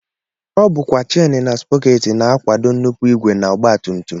Ọ bụkwa chen na sprọkeetị na-akwado nnupụ ìgwè na ọgbatumtum